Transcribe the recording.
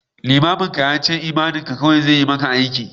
Limamin ya ce imaninka kawai zai yi maka aiki